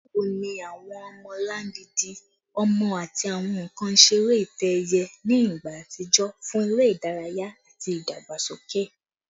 Bawo ni awọn ọmọlangidi ọmọ ati awọn nkan isere itẹ-ẹiyẹ ni igba atijọ fun ere idaraya ati idagbasoke?